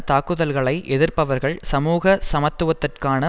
தாக்குதல்களை எதிர்ப்பவர்கள் சமூக சமத்துவத்திற்கான